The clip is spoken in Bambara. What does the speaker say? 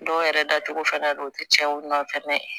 Dɔw yɛrɛ dacogo fɛnɛ don u ti tiɲɛ u nɔfɛ